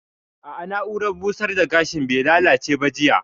A'a, na'urar busar da gashin bai lallace ba jiya